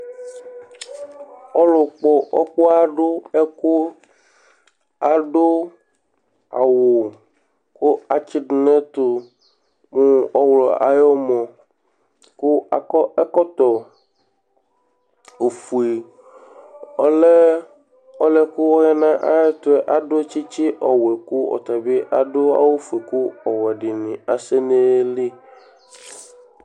Ɔlʋkpɔ ɔkpɔɣa dʋ ɛkʋ adʋ awʋ kʋ atsɩdʋ nʋ ɛtʋ mʋ ɔɣlɔ ayʋ ʋmɔ kʋ akɔ ɛkɔtɔ ofue Ɔlɛ ɔlʋ yɛ kʋ ɔya nʋ ayɛtʋ yɛ adʋ tsɩtsɩ ɔwɛ kʋ ɔta bɩ adʋ awʋfue kʋ ɔwɛ dɩnɩ asɛ nʋ ayili